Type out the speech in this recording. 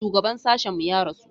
Shugaban sashen mu ya rasu.